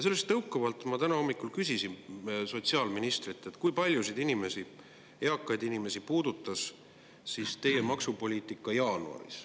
Sellest tõukuvalt ma täna hommikul küsisin sotsiaalministrilt, kui paljusid inimesi, eakaid inimesi, puudutas teie maksupoliitika jaanuaris.